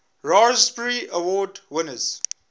raspberry award winners